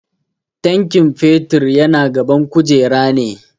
Tankin fetur yana gaban kujera ne.